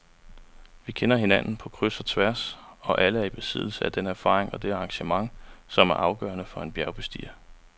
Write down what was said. Vi kender hinanden på kryds og tværs og er alle i besiddelse af den erfaring og det engagement, som er afgørende for en bjergbestiger.